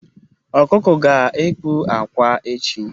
Ọkụkọ ga-ekpu akwa echi